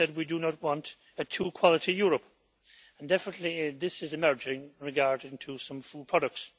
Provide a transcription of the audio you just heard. he said we do not want a two quality Europe, and definitely this is emerging regarding some food products.